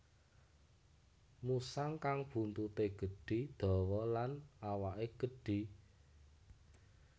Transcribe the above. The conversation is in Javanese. Musang kang buntute gedhi dawa lan awake gedhi